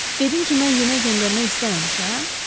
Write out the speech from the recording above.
Dedinki mən yemək göndərmək istəməmişəm?